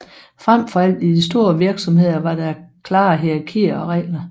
Frem for alt i de store virksomheder var der klare hierarkier og regler